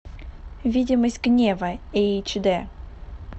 видимость гнева эйч дэ